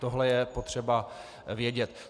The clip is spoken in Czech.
Tohle je potřeba vědět.